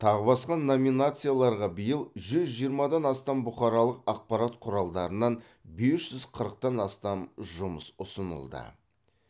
тағы басқа номинацияларға биыл жүз жиырмадан астам бұқаралық ақпарат құралдарынан бес жүз қырықтан астам жұмыс ұсынылды